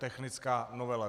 Technická novela.